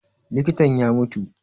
Likitan ya mutu